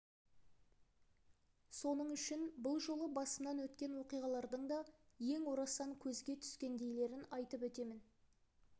соның үшін бұл жолы басымнан өткен оқиғалардың да ең орасан көзге түскендейлерін айтып өтемін